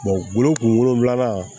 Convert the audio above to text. woro wolonfila